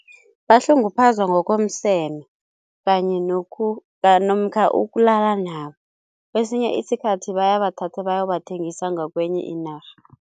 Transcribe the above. Bahlunguphazwa ngokomseme kanye namkha ukulala nabo, kwesinye isikhathi bayabathatha bayobathengisa ngakwenye inarha.